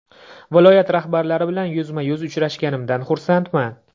Viloyat rahbarlari bilan yuzma-yuz uchrashganimdan xursandman.